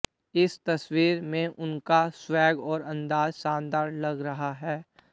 इस तस्वीर में उनका स्वैग और अंदाज़ शानदार लग रहा है